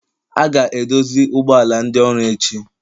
A ga-edozi ụgbọ ala ndị ọrụ echi